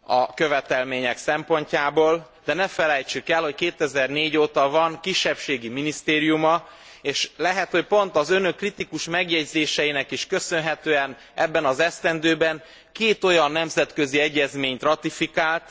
a követelmények szempontjából, de ne felejtsük el, hogy 2004 óta van kisebbségi minisztériuma, és lehet, hogy pont az Önök kritikus megjegyzéseinek is köszönhetően ebben az esztendőben két olyan nemzetközi egyezményt ratifikált,